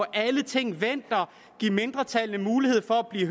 alle ting vendt og give mindretallet mulighed